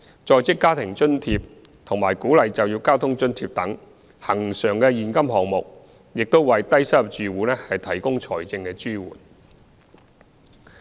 "在職家庭津貼"和"鼓勵就業交通津貼"等恆常現金項目亦為低收入住戶提供財政支援。